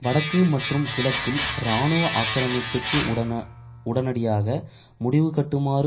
வடக்கு மற்றும் கிழக்கில் இராணுவ ஆக்கிரமிப்புக்கு உடனடியாக முடிவுகட்டுமாறு